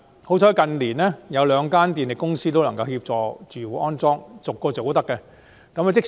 幸好近年兩間電力公司都願意為屋苑安裝充電設施。